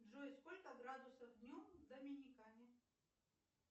джой сколько градусов днем в доминикане